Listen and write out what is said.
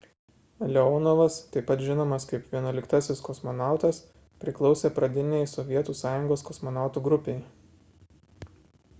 leonovas taip pat žinomas kaip 11-asis kosmonautas priklausė pradinei sovietų sąjungos kosmonautų grupei